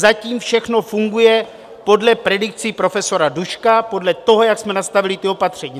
Zatím všechno funguje podle predikcí profesora Duška, podle toho, jak jsme nastavili ta opatření.